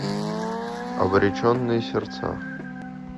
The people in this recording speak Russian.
обреченные сердца